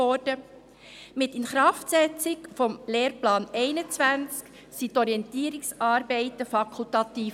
Mit der Inkraftsetzung des Lehrplans 21 wurden die Orientierungsarbeiten fakultativ.